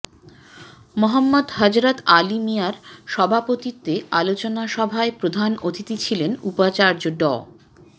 মোহাম্মদ হযরত আলী মিঞার সভাপতিত্বে আলোচনাসভায় প্রধান অতিথি ছিলেন উপাচার্য ড